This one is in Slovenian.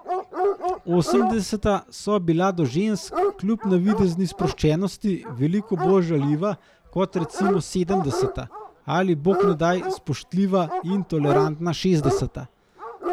Osemdeseta so bila do žensk, kljub navidezni sproščenosti, veliko bolj žaljiva kot recimo sedemdeseta ali, bog ne daj, spoštljiva in tolerantna šestdeseta.